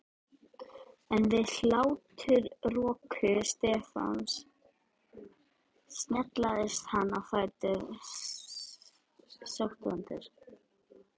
En við hláturroku Stefáns snaraðist hann á fætur, sótvondur.